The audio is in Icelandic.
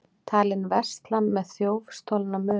Talinn versla með þjófstolna muni